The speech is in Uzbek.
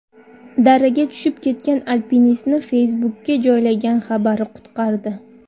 Daraga tushib ketgan alpinistni Facebook’ga joylagan xabari qutqardi.